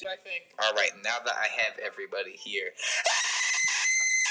Myrkrið grúfði sig yfir allt og það var brunagaddur úti.